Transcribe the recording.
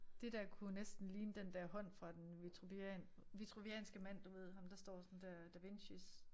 Dét der kunne jo næsten ligne den der hånd fra den vitruvian vitruvianske mand du ved ham der står sådan dér Da Vincis